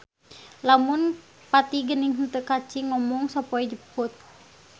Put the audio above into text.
Lamun pati geni henteu kaci ngomong sapoe jeput.